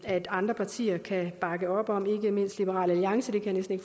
at andre partier kan bakke op om ikke mindst liberal alliance jeg kan næsten